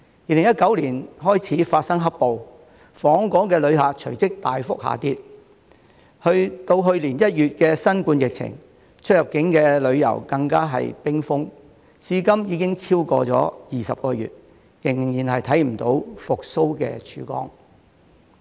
2019年開始發生"黑暴"，訪港旅客隨即大幅下跌，直至去年1月的新冠疫情，出入境旅遊更是冰封，至今已經超過20個月，仍然看不到復蘇的曙光。